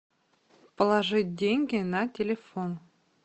положить деньги на телефон